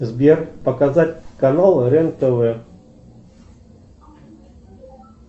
сбер показать канал рен тв